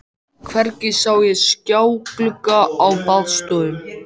Hvergi sá ég skjáglugga á baðstofum.